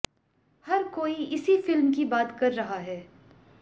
हर कोई इसी फिल्म की बात कर रहा है